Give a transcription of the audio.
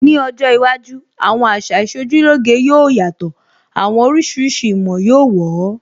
Ní ọjọ́ iwájú, àwọn àṣà Ìṣojúlóge yóò yàtọ̀, àwọn oríṣiríṣi ìmọ̀ yóó wọ̀ ọ́